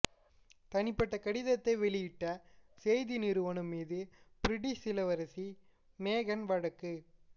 தனிப்பட்ட கடிதத்தை வெளியிட்ட செய்தி நிறுவனம் மீது பிரிட்டிஷ் இளவரசி மேகன் வழக்கு